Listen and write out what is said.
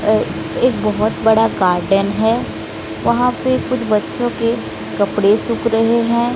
एक बहोत बड़ा गार्डन है वहां पे कुछ बच्चों के कपड़े सूख रहे हैं।